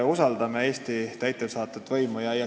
Usaldame Eesti täidesaatvat võimu!